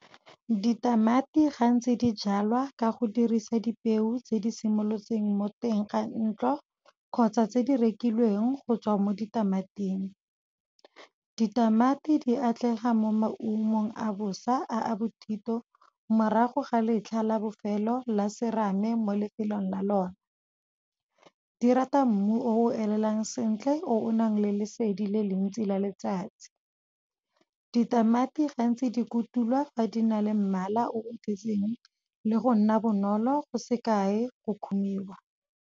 Ditamati gantsi dijalwa ka go dirisa dipeo tse di simolotseng mo teng ga ntlo, kgotsa tse di rekilweng go tswa mo ditamating. Ditamati di atlega mo maungong a bosa a a bothito, morago ga letlha la bofelo la serame mo lefelong la lona. Di rata mmu o elelang sentle, o nang le lesedi le le ntsi la letsatsi, ditamati gantsi di kutulwa fa di na le mmala o le go nna bonolo, go se kae go kgomiwa.